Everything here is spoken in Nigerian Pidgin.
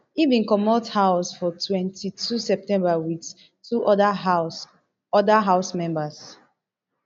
e bin comot house for twenty-two september wit two oda house oda house members